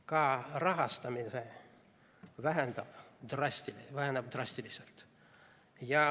Ka rahastamine väheneb drastiliselt.